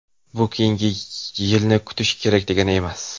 Bu keyingi yilni kutish kerak degani emas.